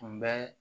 Tun bɛ